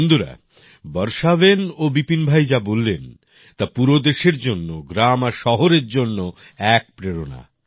বন্ধুরা বর্ষা বেন ও বিপিন ভাই যা বললেন তা পুরো দেশের জন্য গ্রাম আর শহরের জন্য এক প্রেরণা